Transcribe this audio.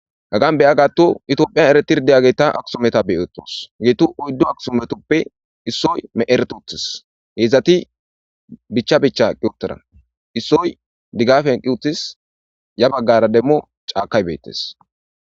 Gaggan beya gaattu itophiyan ereti rdeyageta aksumeta beotos geetu oyddo aksumetoppe issoy me'eretu uttis heedzdzati bicha bicha qi uttara issoy diggaf henqi uttis ya baggara demmo caakay beettes.